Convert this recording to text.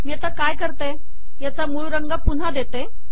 मी आता काय करते याचा मूळ रंग पुन्हा देते